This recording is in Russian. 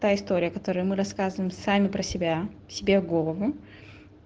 та история которую мы рассказываем сами про себя себе в голову